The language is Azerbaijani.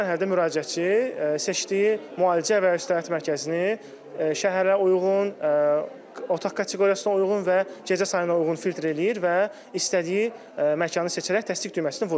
Növbəti mərhələdə müraciətçi seçdiyi müalicə və ya istirahət mərkəzini şəhərlərə uyğun, otaq kateqoriyasına uyğun və gecə sayına uyğun filtr eləyir və istədiyi məkanı seçərək təsdiq düyməsini vurur.